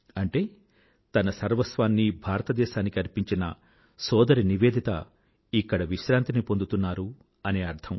అంటే తన సర్వస్వాన్నీ భారతదేశానికి అర్పించిన సోదరి నివేదిత ఇక్కడ విశ్రాంతిని పొందుతోంది అని అర్థం